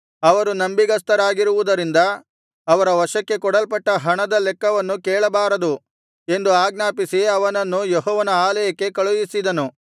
ಅವರು ನಂಬಿಗಸ್ತರಾಗಿರುವುದರಿಂದ ಅವರ ವಶಕ್ಕೆ ಕೊಡಲ್ಪಡುವ ಹಣದ ಲೆಕ್ಕವನ್ನು ಕೇಳಬಾರದು ಎಂದು ಆಜ್ಞಾಪಿಸಿ ಅವನನ್ನು ಯೆಹೋವನ ಆಲಯಕ್ಕೆ ಕಳುಹಿಸಿದನು